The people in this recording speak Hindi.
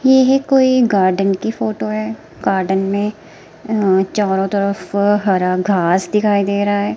यह कोई गार्डन की फोटो है गार्डन में चारों तरफ को हरा घास दिखाई दे रहा है।